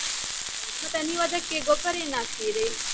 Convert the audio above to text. ಮತ್ತೆ ನೀವದಕ್ಕೆ ಗೊಬ್ಬರ ಏನ್ ಹಾಕ್ತೀರಿ?